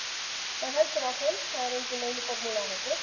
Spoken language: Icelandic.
Maður heldur bara áfram, það er engin leyniformúla að þessu.